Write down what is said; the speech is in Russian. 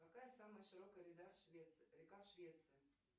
какая самая широкая река в швеции